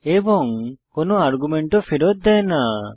এবং কোনো আর্গুমেন্টও ফেরত দেয় না